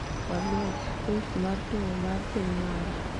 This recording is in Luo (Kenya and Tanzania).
Oliech list mar tugo mar piny mara